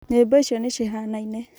nyĩmbo icio nĩ cihanaine